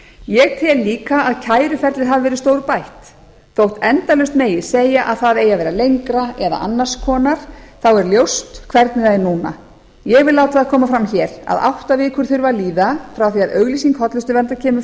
ég tel líka að kæruferlið hafi verið stórbætt þótt endalaust megi segja að það eigi að vera lengra eða annars konar þá er ljóst hvernig það er núna ég vil láta það koma fram hér að átta vikur þurfa að líða frá því að auglýsing hollustuverndar kemur